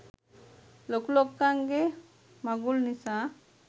ලොකු ලොක්කන්ගේ මගුල් නිසා.